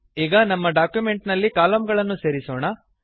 ಈಗ ನಮ್ಮ ಡಾಕ್ಯುಮೆಂಟ್ ನಲ್ಲಿ ಕಲಮ್ ಗಳನ್ನು ಸೇರಿಸೋಣ